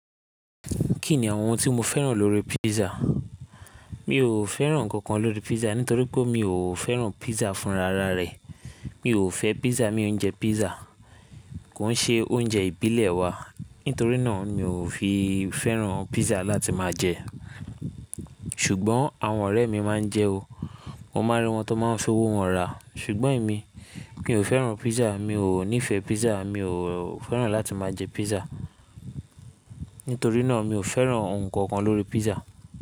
Kí ni àwọn ohun tí mo fẹ́ràn lórí písà? Mi ò fẹ́ràn ǹkan kan lórí písà nítorí pé mi ò fẹ́ràn písà fún rara rẹ̀. Mi ò fẹ́ písà, mi ò ń jẹ písà. Kò ń ṣe oúnjẹ ìbílẹ̀ wa nítorínà mi ò fi fẹ́ràn písà láti máa jẹ ẹ́. Ṣùgbọ́n àwọn ọ̀rẹ́ mi máa ń jẹ o. Mo máa rí wọn tó máa ń ṣowó wọn rà. Ṣùgbọ́n èmi, mi ò fẹ́ràn písà, mi ò nífẹ̀ẹ́ písà, mi ò fẹ́ràn láti máa jẹ písà. Nítorínà mi ò fẹ́ràn ǹkan kan lórí písà.